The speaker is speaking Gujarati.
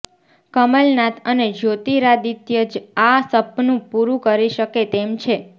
કમલનાથ અને જ્યોતિરાદિત્ય જ આ સપનું પૂરું કરી શકે તેમ છે